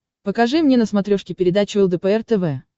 покажи мне на смотрешке передачу лдпр тв